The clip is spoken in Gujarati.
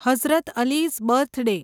હઝરત અલી'સ બર્થડે